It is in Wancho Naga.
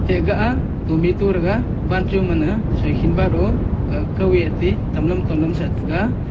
ega a tometo rega wancho man ga soihi man o kao e ti tao long tao long sah tega.